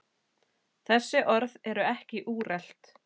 Þessi orð eru ekki úrelt.